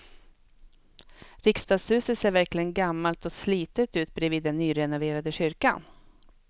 Riksdagshuset ser verkligen gammalt och slitet ut bredvid den nyrenoverade kyrkan.